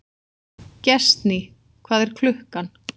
Gestný, hvað er klukkan?